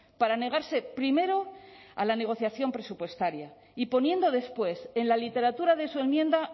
para negarse primero a la negociación presupuestaria y poniendo después en la literatura de su enmienda